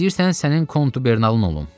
İstəyirsən sənin kontubernalım olum.